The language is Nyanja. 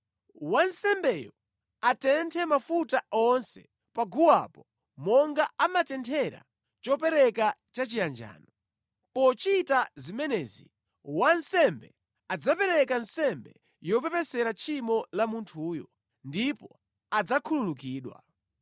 Wansembeyo atenthe mafuta onse pa guwapo monga amatenthera chopereka chachiyanjano. Pochita zimenezi, wansembe adzapereka nsembe yopepesera tchimo la munthuyo, ndipo adzakhululukidwa.